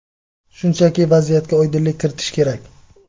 Shunchaki vaziyatga oydinlik kiritish kerak.